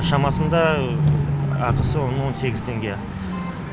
шамасында ақысы оның он сегіз теңге